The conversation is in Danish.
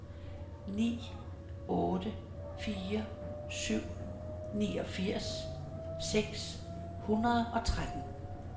ni otte fire syv niogfirs seks hundrede og tretten